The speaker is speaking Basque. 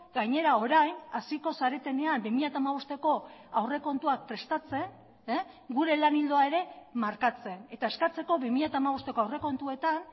gainera orain hasiko zaretenean bi mila hamabosteko aurrekontuak prestatzen gure lan ildoa ere markatzen eta eskatzeko bi mila hamabosteko aurrekontuetan